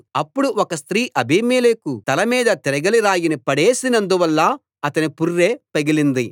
అప్పుడు ఒక స్త్రీ అబీమెలెకు తల మీద తిరగలి రాయిని పడేసినందువల్ల అతని పుర్రె పగిలింది